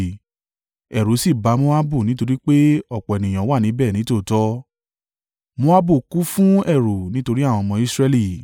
ẹ̀rù sì ba Moabu nítorí pé ọ̀pọ̀ ènìyàn wà níbẹ̀ nítòótọ́, Moabu kún fún ẹ̀rù nítorí àwọn ọmọ Israẹli.